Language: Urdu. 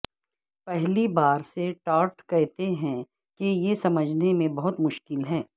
پہلی بار سے ٹارٹ کہتے ہیں کہ یہ سمجھنے میں بہت مشکل ہے